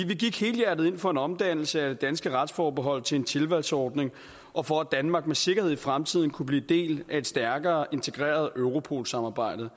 gik helhjertet ind for en omdannelse af det danske retsforbehold til en tilvalgsordning og for at danmark med sikkerhed i fremtiden kunne blive en del af et stærkere integreret europol samarbejde